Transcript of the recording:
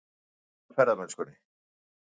Hundleiðir á ferðamennskunni